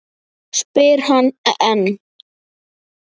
spyr hann enn.